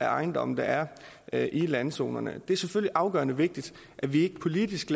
ejendomme der er er i landzonerne det er selvfølgelig afgørende vigtigt at vi ikke politisk